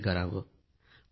नवीन काही करावे